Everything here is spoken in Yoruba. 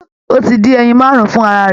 Ó ti dín ẹyin máàrún fún ara rẹ̀